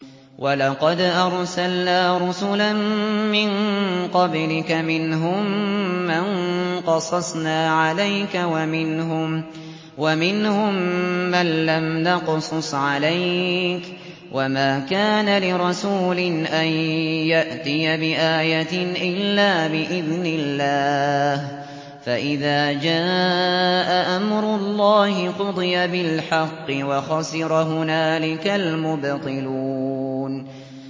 وَلَقَدْ أَرْسَلْنَا رُسُلًا مِّن قَبْلِكَ مِنْهُم مَّن قَصَصْنَا عَلَيْكَ وَمِنْهُم مَّن لَّمْ نَقْصُصْ عَلَيْكَ ۗ وَمَا كَانَ لِرَسُولٍ أَن يَأْتِيَ بِآيَةٍ إِلَّا بِإِذْنِ اللَّهِ ۚ فَإِذَا جَاءَ أَمْرُ اللَّهِ قُضِيَ بِالْحَقِّ وَخَسِرَ هُنَالِكَ الْمُبْطِلُونَ